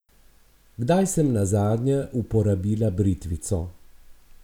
Kdaj sem nazadnje uporabila britvico?